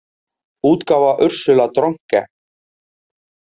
útgáfa Ursula Dronke.